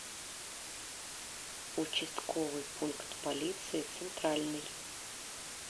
участковый пункт полиции центральный